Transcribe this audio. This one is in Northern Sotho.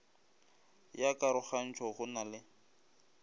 ya karogantšho go na le